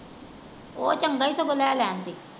ਉਹ ਚੰਗਾ ਈ ਸਗੋਂ ਲੈ ਲੈਣ ਤੇ।